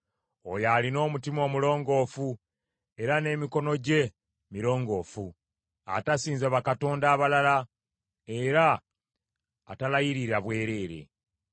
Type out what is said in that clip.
Oyo alina omutima omulongoofu, nga n’emikono gye mirongoofu; atasinza bakatonda abalala, era atalayirira bwereere.